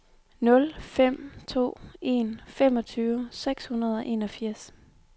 nul fem to en femogtyve seks hundrede og enogfirs